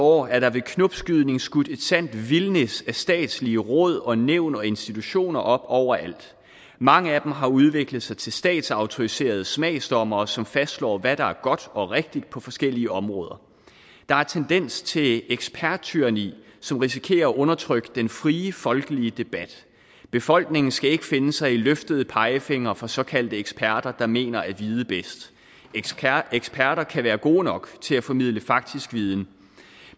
år er der ved knopskydning skudt et sandt vildnis af statslige råd og nævn og institutioner op over alt mange af dem har udviklet sig til statsautoriserede smagsdommere som fastslår hvad der er godt og rigtigt på forskellige områder der er tendenser til et eksperttyranni som risikerer at undertrykke den frie folkelige debat befolkningen skal ikke finde sig i løftede pegefingre fra såkaldte eksperter der mener at vide bedst eksperter kan være gode nok til at formidle faktisk viden